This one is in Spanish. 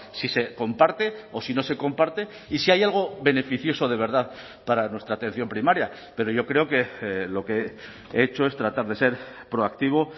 si se comparte o si no se comparte y si hay algo beneficioso de verdad para nuestra atención primaria pero yo creo que lo que he hecho es tratar de ser proactivo